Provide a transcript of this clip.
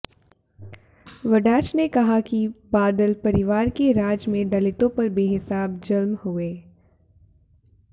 वड़ैच ने कहा कि बादल परिवार के राज में दलितों पर बेहसाब जुल्म हुए